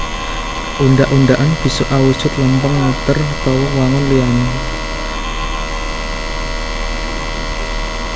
Undhak undhakan bisa awujud lempeng muter utawa wangun liyané